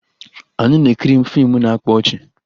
Anyị na-ekiri fiimu na-akpa ọchị